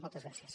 moltes gràcies